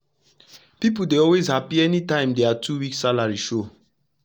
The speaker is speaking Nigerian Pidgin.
pipu dey always happy anytym wey dia two week salary show